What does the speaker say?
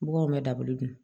Baganw bɛ dabali don